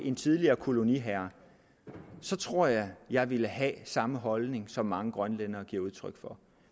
en tidligere koloniherre så tror jeg jeg ville have samme holdning som mange grønlændere giver udtryk for